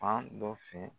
Fan dɔ fɛ